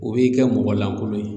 O b'i kɛ mɔgɔ lankolon ye